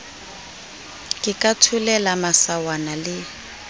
ke ka tholela masawana le